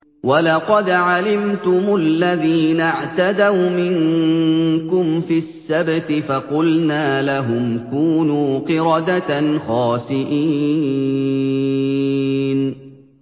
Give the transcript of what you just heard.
وَلَقَدْ عَلِمْتُمُ الَّذِينَ اعْتَدَوْا مِنكُمْ فِي السَّبْتِ فَقُلْنَا لَهُمْ كُونُوا قِرَدَةً خَاسِئِينَ